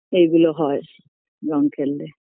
এগুলো হয় রঙ খেললে